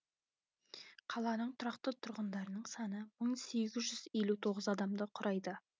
қаланың тұрақты тұрғындарының саны мың сегіз жүз елу тоғыз адамды құрайды